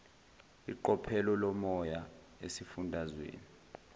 iqophelo lomoya esifundazweni